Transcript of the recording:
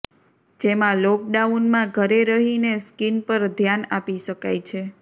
જેમાં લોકડાઉનમાં ઘરે રહીને સ્કિન પર ધ્યાન આપી શકાય છે